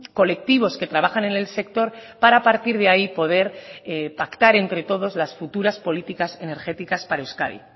colectivos que trabajan en el sector para a partir de ahí poder pactar entre todos las futuras políticas energéticas para euskadi